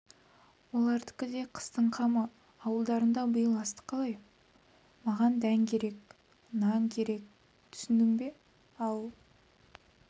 олардікі де қыстың қамы ауылдарында биыл астық қалай маған дән керек нан керек түсіндің бе ал